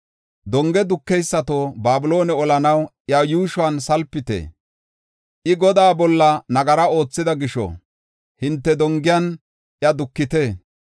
“Donge dukeysato, Babiloone olanaw iya yuushuwan salpite; I Godaa bolla nagara oothida gisho hinte dongiyan iya dukite.